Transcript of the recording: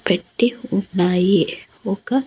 పెట్టి ఉ ఉన్నాయి ఒక--